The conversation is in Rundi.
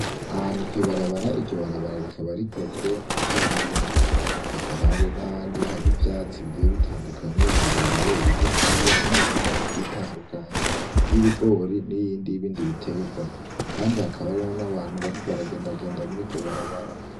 Ahantu kw'ibarabara, iryo barabara rikaba rikozwe n'ikaburimbi, hakaba hari n'ahandi hari ivyatsi bigiye bitandukanye birebire, bigufiya n'imirima igiye itandukanye y'ibigori n'iyindi y'ibindi biterwa, kandi hakaba hari n'abantu bariko bagendagenda muriryo barabara.